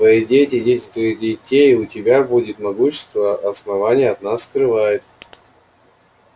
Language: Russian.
твои дети и дети твоих детей у тебя будет могущество основание от нас скрывает